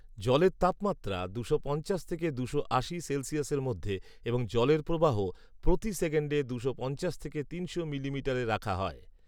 জলের তাপমাত্রা দুশো পঞ্চাশ থেকে দুশো আশি সেলসিয়াসের মধ্যে এবং জলের প্রবাহ প্রতি সেকেন্ডে দুশো পঞ্চাশ থেকে তিনশো মিলিমিটার রাখা হয়